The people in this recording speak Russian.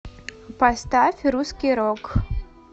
поставь русский рок